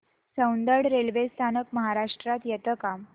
Soundad railway स्थानक महाराष्ट्रात येतं का